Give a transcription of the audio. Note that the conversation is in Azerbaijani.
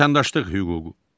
Vətəndaşlıq hüququ.